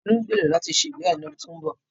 Tolú ń gbèrò láti ṣe ìgbéyàwó lọ́dún tó ń bọ̀.